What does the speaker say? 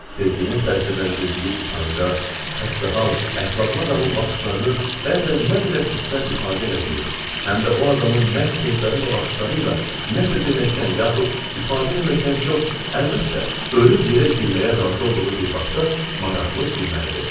Sevginin təsirləndirdiyi utanacaq, xəstəhal, əxlaqlı adamın baxışlarının bəzən nə qədər hisslər ifadə elədiyi, həm də o adamın məhz sözləri və baxışları ilə nə isə deməkdən yaxud ifadə eləməkdən çox, əlbəttə, ölüb yerə girməyə razı olduğu bir vaxtda maraqlı gülməlidir.